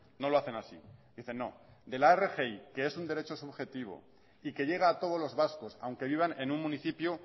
no lo hacen así dicen no de la rgi que es un derecho subjetivo y que llega a todos los vascos aunque vivan en un municipio